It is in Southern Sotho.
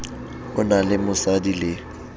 o na le mosadi le